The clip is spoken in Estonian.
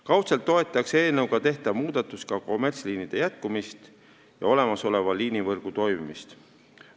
Kaudselt toetaks eelnõuga tehtav muudatus ka kommertsliinide töö jätkumist ja olemasoleva liinivõrgu toimimist.